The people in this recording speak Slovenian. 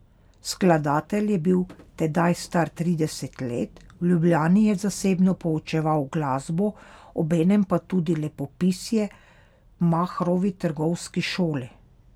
Skladatelj je bil tedaj star trideset let, v Ljubljani je zasebno poučeval glasbo, obenem pa tudi lepopisje v Mahrovi trgovski šoli.